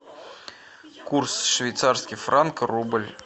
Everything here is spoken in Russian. курс швейцарский франк рубль